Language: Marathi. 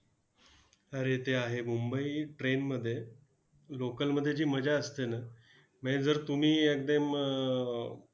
अरे ते आहे. मुंबई train मध्ये local मध्ये जी मजा असते ना, म्हणजे जर तुम्ही एकदम अं